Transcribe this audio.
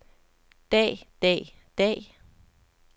dag dag dag